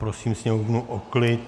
Prosím sněmovnu o klid.